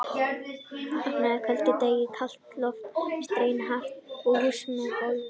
Útidyr opnaðar á köldum degi, kalt loft streymir hratt inn í húsið með gólfum.